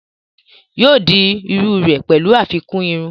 yóò di iru rẹ̀ pẹ̀lú àfikún irun